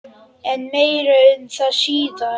En meira um það síðar.